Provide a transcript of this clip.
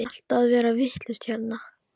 Allt að verða vitlaust hérna?